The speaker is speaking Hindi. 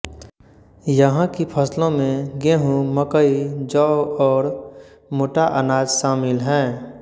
यहाँ की फ़सलों में गेहूँ मकई जौ और मोटा अनाज शामिल हैं